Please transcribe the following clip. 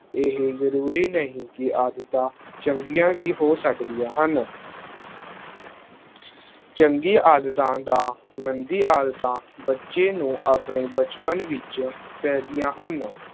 ਇਹ ਜ਼ਰੂਰੀ ਨਹੀਂ ਕਿ ਆਦਤਾਂ ਚੰਗੀਆਂ ਹੀ ਹੋ ਸਕਦੀਆਂ ਹਨ, ਚੰਗੀ ਆਦਤਾਂ ਦਾ, ਮੰਦੀ ਆਦਤਾਂ ਬੱਚੇ ਨੂੰ ਆਪਣੇ ਬਚਪਨ ਵਿੱਚ ਪੈਂਦੀਆਂ ਹਨ।